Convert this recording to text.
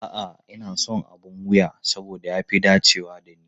A'a, ina son abin wuya saboda ya fi dacewa da ni.